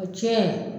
O tiɲɛ